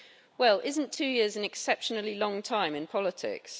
Well isn't two years an exceptionally long time in politics.